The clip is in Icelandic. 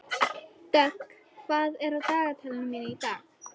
Dögg, hvað er á dagatalinu mínu í dag?